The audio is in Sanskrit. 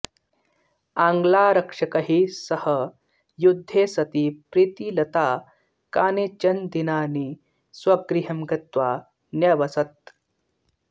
आङ्ग्लारक्षकैः सह युद्धे सति प्रीतिलता कानिचन दिनानि स्वगृहं गत्वा न्यवसत्